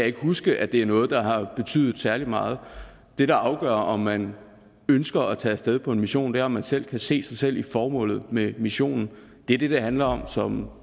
ikke huske at det er noget der har betydet særlig meget det der afgør om man ønsker at tage af sted på en mission er om man selv kan se sig selv i formålet med missionen det er det det handler om som